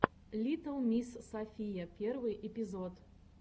литтл мисс софия первый эпизод